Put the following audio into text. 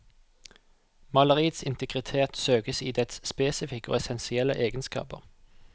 Maleriets integritet søkes i dets spesifikke og essensielle egenskaper.